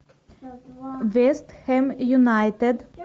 вестхэм юнайтед